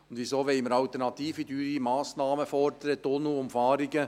Und wieso wollen wir alternative, teure Massnahmen fordern, Tunnelumfahrungen?